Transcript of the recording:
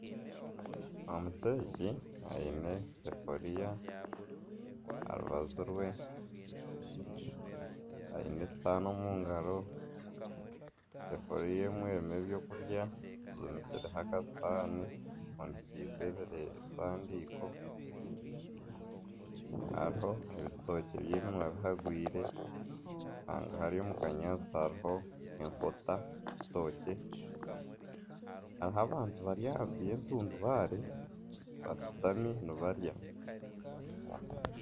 Omuteeki aine esafuriya aha rubaju rwe aine esihaani omu ngaro esefuriya emwe erimu ebyokurya efundikizeho akasihani efundikize ebisaniiko hariho ebitookye by'eminwa bihagwire hari omu kanyaatsi hariho enkota hariho abantu bari aharuguru y'entundubaare bashutami nibarya